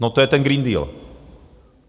No, to je ten Green Deal.